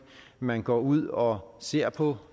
man går ud og ser på